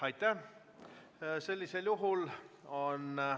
Aitäh!